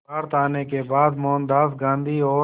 भारत आने के बाद मोहनदास गांधी और